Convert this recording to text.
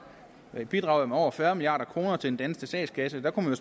bidrager med over fyrre milliard kroner til den danske statskasse og